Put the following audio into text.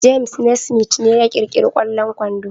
James Naismith ne ya kirkiri kwallon kwando